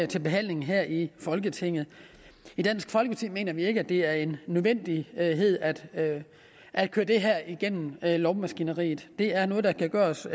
til behandling her i folketinget i dansk folkeparti mener vi ikke at det er en nødvendighed at at køre det her igennem lovmaskineriet det er noget der kan gøres